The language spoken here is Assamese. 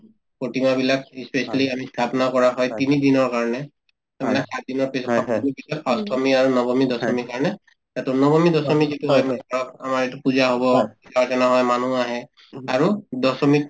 প্ৰতিমাবিলাক ই specially আমি স্থাপনা কৰা হয় তিনিদিনৰ কাৰণে to মানে চাৰিদিনৰ পিছত পিছত অষ্টমী, নৱমী, দশমীৰ কাৰণে তাতো নৱমী, দশমী যিটো মানে অ আমাৰ এইটোত পূজা হব মানুহ আহে আৰু দশমীত